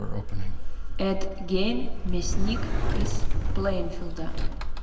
эд гейн мясник из плэйнфилда